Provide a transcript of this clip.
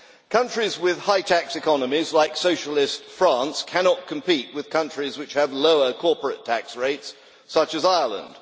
Countries with high tax economies, like socialist France, cannot compete with countries which have lower corporate tax rates, such as Ireland.